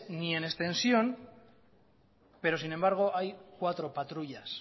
ni en extensión pero sin embargo hay cuatro patrullas